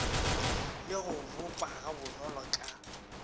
le go boppa gabonolo ka